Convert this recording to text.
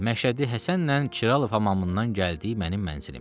Məşədi Həsənlə Kiralov hamamından gəldi mənim mənzilimə.